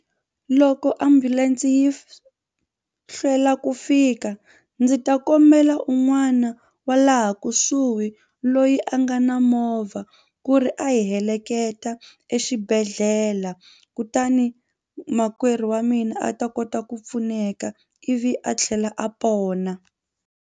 Loko ambulense yi hlwela ku fika ndzi ta kombela un'wana wa laha kusuhi loyi a nga na movha ku ri a hi heleketa exibedhlele kutani makwerhu wa mina a ta kota ku pfuneka ivi a tlhela a pona.